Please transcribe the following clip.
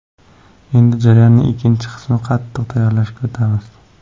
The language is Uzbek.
Endi jarayonning ikkinchi bosqichi qatiq tayyorlashga o‘tamiz.